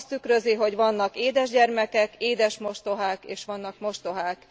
Azt tükrözi, hogy vannak édes gyermekek, édes mostohák és vannak mostohák.